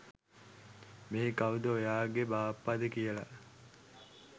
මේ කවුද ඔයාගෙ බාප්පද කියල.